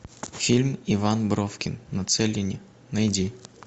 фильм иван бровкин на целине найди